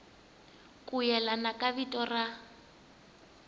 ku yelana ka vito ra